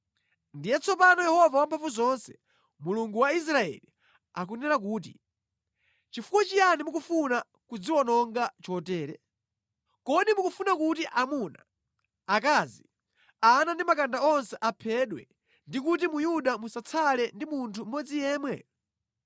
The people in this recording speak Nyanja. “Ndiye tsopano Yehova Wamphamvuzonse, Mulungu wa Israeli, akunena kuti, ‘Chifukwa chiyani mukufuna kudziwononga chotere? Kodi mukufuna kuti amuna, akazi, ana ndi makanda onse aphedwe ndi kuti mu Yuda musatsale ndi munthu mmodzi yemwe?